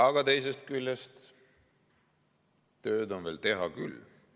Aga teisest küljest, tööd on veel teha küll.